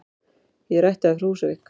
Ég er ættaður frá Húsavík.